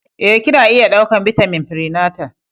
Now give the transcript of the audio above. Ee, Kina iya ɗaukar bitamin prenatal.